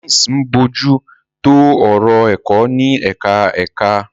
Deans ń bójú tó ọ̀rọ̀ ẹ̀kọ́ ní ẹ̀ka ẹ̀ka.